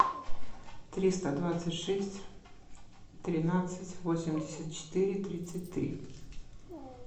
триста двадцать шесть тринадцать восемьдесят четыре тридцать три